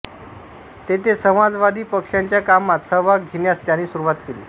तेथे समाजवादी पक्षाच्या कामात सहभाग घेण्यास त्यांनी सुरुवात केली